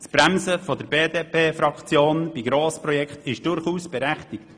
Das Bremsen der BDP-Fraktion bei Grossprojekten ist durchaus berechtigt.